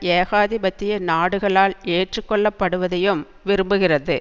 ஏகாதிபத்திய நாடுகளால் எற்றுக் கொள்ளப்படுவதையும் விரும்புகிறது